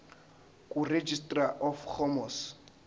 kuregistrar of gmos